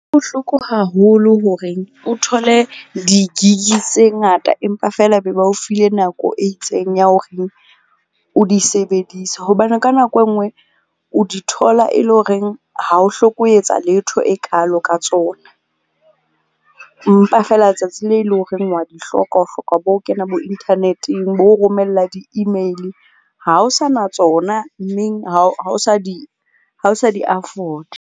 Bohloko haholo horeng o thole di-gig-i tse ngata empa feela ba be ba o file nako e itseng ya horeng o di sebedise. Hobane ka nako e nngwe o di thola e le horeng ha ho hloke ho etsa letho e kaalo ka tsona. Empa feela letsatsi le leng horeng wa di hloka o hloka bo ho kena bo internet-eng, bo ho romella di-email-i ha ho sa na tsona, mmeng ha ho sa di afford-a.